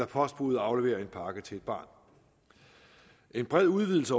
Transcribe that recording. postbudet afleverer en pakke til et barn en bred udvidelse